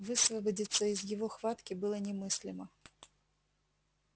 высвободиться из его хватки было немыслимо